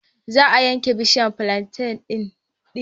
Za a yanke bishiyar flanten ɗin.